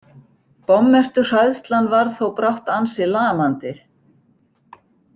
Bommertuhræðslan varð þó brátt ansi lamandi.